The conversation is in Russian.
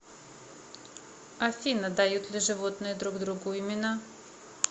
афина дают ли животные друг другу имена